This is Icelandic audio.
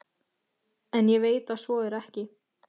En ég veit að svo er ekki.